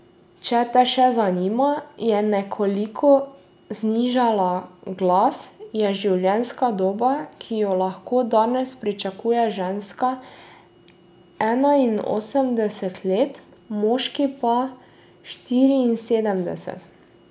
Če te še zanima, je nekoliko znižala glas, je življenjska doba, ki jo lahko danes pričakuje ženska, enainosemdeset let, moški pa štiriinsedemdeset.